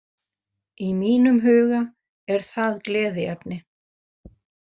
Í mínum huga er það gleðiefni.